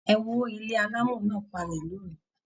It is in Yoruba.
E wó ilé alamo náà palẹ lóru.